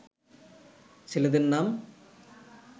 ছেলেদের নাম